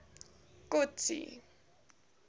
kotsi